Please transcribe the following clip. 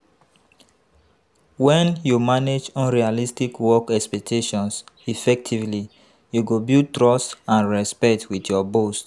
When you manage unrealistic work expectations effectively, you go build trust and respect with your boss.